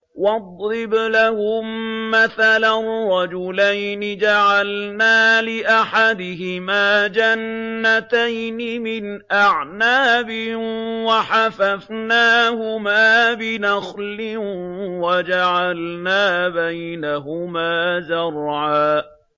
۞ وَاضْرِبْ لَهُم مَّثَلًا رَّجُلَيْنِ جَعَلْنَا لِأَحَدِهِمَا جَنَّتَيْنِ مِنْ أَعْنَابٍ وَحَفَفْنَاهُمَا بِنَخْلٍ وَجَعَلْنَا بَيْنَهُمَا زَرْعًا